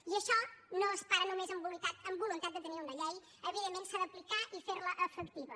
i això no es para només amb voluntat de tenir una llei evidentment s’ha d’aplicar i fer la efectiva